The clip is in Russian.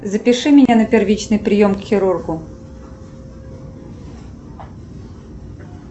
запиши меня на первичный прием к хирургу